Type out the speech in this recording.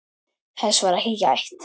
Þess var ekki gætt.